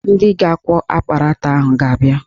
Ndị ga-akwọ akparata ahụ ga-abịa